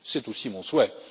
C'est aussi mon souhait.